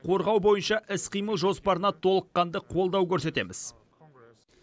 қорғау бойынша іс қимыл жоспарына толыққанды қолдау көрсетеміз